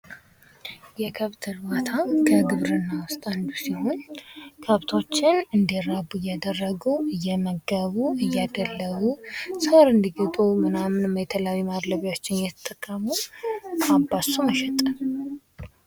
የከብት እርባታ ከግብርና ውስጥ አንዱ ሲሆን ከብቶችን እንዲራቡ እያደረጉ፣ እየመገቡ፣ እየደለቡ፣ ሳር እንድግጡ ምናምን የተለያዩ ማድለቢያወችን እየተጠቀሙ አባዝቶ መሸጥ